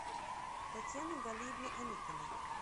татьяны галиевны аникиной